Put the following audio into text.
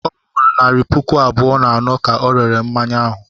Ọ wụ naịra puku abụọ na anọ ka ọ rere mmanya ahụ.